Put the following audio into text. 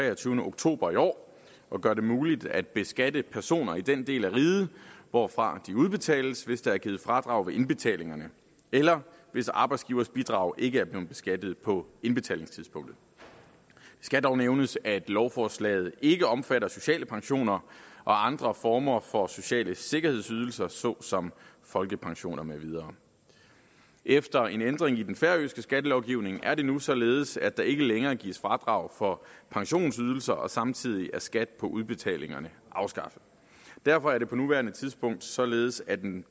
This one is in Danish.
treogtyvende oktober i år og gør det muligt at beskatte pensioner i den del af riget hvorfra de udbetales hvis der er givet fradrag ved indbetalingerne eller hvis arbejdsgivers bidrag ikke er blevet beskattet på indbetalingstidspunktet det skal dog nævnes at lovforslaget ikke omfatter sociale pensioner og andre former for sociale sikkerhedsydelser så som folkepension med videre efter en ændring i den færøske skattelovgivning er det nu således at der ikke længere gives fradrag for pensionsydelser og samtidig er skat på udbetalingerne afskaffet derfor er det på nuværende tidspunkt således at en